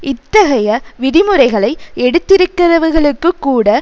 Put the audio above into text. இத்தகைய விதிமுறைகளை எடுத்திருக்கிறவர்களுக்கு கூட